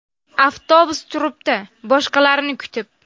Avtobus turibdi boshqalarni kutib.